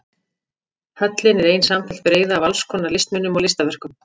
Höllin er ein samfelld breiða af alls konar listmunum og listaverkum.